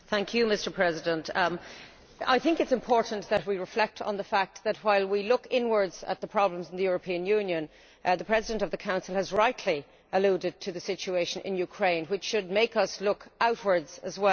Mr President, I think it is important that we reflect on the fact that while we look inwards at the problems in the European Union, the President of the Council has rightly alluded to the situation in Ukraine, which should make us look outwards as well.